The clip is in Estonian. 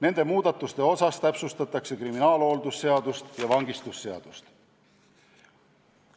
Nende muudatuste osas täpsustatakse kriminaalhooldusseadust ja vangistusseadust.